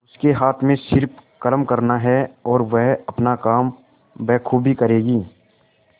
उसके हाथ में सिर्फ कर्म करना है और वह अपना काम बखूबी करेगी